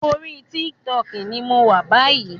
Orí TikTok ní mọ wá bayi